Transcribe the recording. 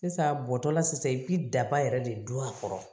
Sisan bɔtɔla sisan i bɛ daba yɛrɛ de don a kɔrɔ